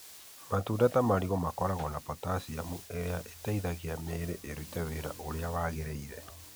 Matunda ta marigũ makoragwo na potassium ĩrĩa ĩteithagia mĩĩrĩ ĩrute wĩra ũrĩa wagĩrĩire.